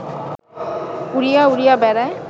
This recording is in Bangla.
উড়িয়া উড়িয়া বেড়ায়